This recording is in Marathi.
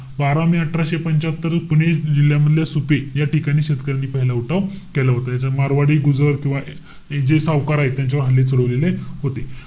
बारा मे अठराशे पंच्यात्तर पुणे जिल्ह्यामधलं सुपे या ठिकाणी शेतकऱ्यांनी पहिला उठाव केला होता. याच्यात मारवाडी, गुजर, किंवा हे जे सावकार आहेत. त्यांच्यावर हल्ले सुरु झालेले होते.